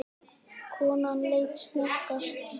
Konan leit snöggt á hann.